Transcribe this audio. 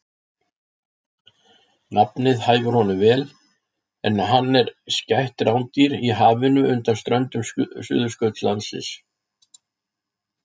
Nafnið hæfir honum vel en hann er skætt rándýr í hafinu undan ströndum Suðurskautslandsins.